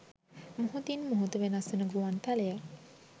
මොහොතින් මොහොත වෙනස් වන ගුවන් තලය